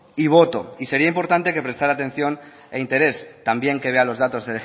y voto y sería importante que prestara atención e interés también que vea los datos